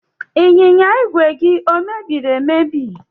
Ịnyịnya ìgwè gị ọ mebiri emebi?